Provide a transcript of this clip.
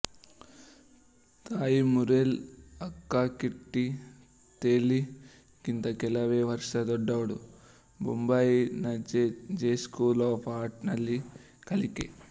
ತಾಯಿ ಮುರೆಲ್ ಅಕ್ಕಕಿಟ್ಟಿ ಥೆಲ್ಲಿ ಗಿಂತ ಕೆಲವೇ ವರ್ಷ ದೊಡ್ಡವಳು ಬೊಂಬಾಯಿನಜೆ ಜೆ ಸ್ಕೂಲ್ ಆಫ್ ಅರ್ಟ್ ನಲ್ಲಿ ಕಲಿಕೆ